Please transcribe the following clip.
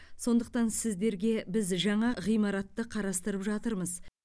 сондықтан сіздерге біз жаңа ғимаратты қарастырып жатырмыз